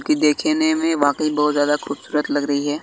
देखने में वाकही बहोत ज्यादा खुबसूरत लग रही है।